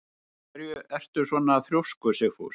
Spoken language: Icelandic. Af hverju ertu svona þrjóskur, Sigfús?